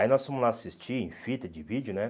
Aí nós fomos lá assistir em fita de vídeo, né?